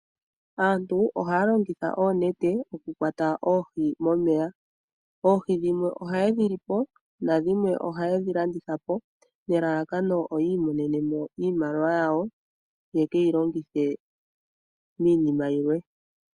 Aantu ohaya longitha oonete oku kwata oohi momeya. Oohi dhimwe oha yedhi lipo, na dhimwe oha yedhi landithapo nelalakano yiimonenemo iimaliwa yawo, ya keyi longithe miinima yimwe.